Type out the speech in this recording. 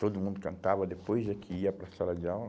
Todo mundo cantava depois é que ia para a sala de aula.